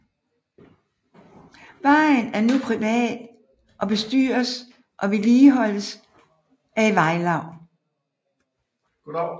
Vejen er nu privat og bestyres og vedligeholdes af et vejlaug